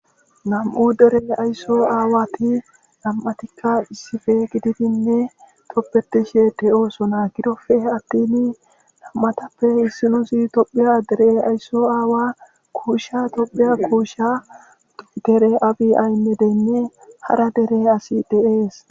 nam7u dere aysso aawati nam7atikka issife gididinne toppetishe de7oosona gidofe attini nam7atappe issinusi tophiya deree aysso aawa kuusha tophiya kuusha dere abi aymedenne hara dere asi deees